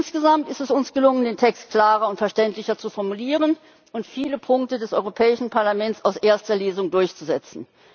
Insgesamt ist es uns gelungen, den Text klarer und verständlicher zu formulieren und viele Punkte des Europäischen Parlaments aus erster Lesung durchzusetzen.